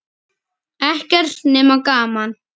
Ekkert nema gaman!